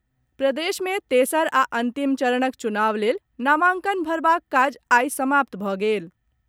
प्रदेश मे तेसर आ अंतिम चरणक चुनाव लेल नामांकन भरबाक काज आइ समाप्त भऽ गेल।